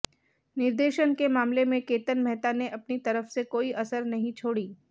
निर्देशन के मामले में केतन मेहता ने अपनी तरफ से कोई कसर नहीं छोड़ी